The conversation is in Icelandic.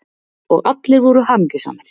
Og allir voru hamingjusamir.